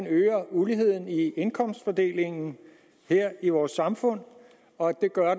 øger uligheden i indkomstfordelingen i vores samfund og at den gør